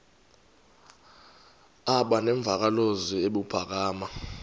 aba nemvakalozwi ebuphakama